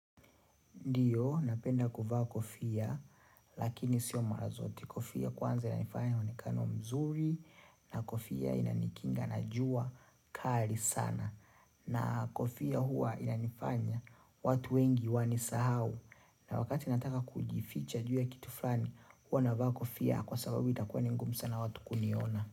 Ndio, napenda kuvaa kofia, lakini sio mara zote Kofia kwanza yana nifanya na wonekano mzuri, na kofia ina nikinga na jua kali sana. Na kofia huwa ina nifanya watu wengi wani sahau. Na wakati nataka kujificha jua ya kitu flani, huwa navaa kofia kwa sababu itakuwa ningumu sana watu kuniona.